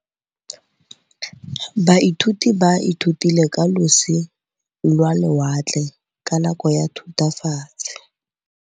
Baithuti ba ithutile ka losi lwa lewatle ka nako ya Thutafatshe.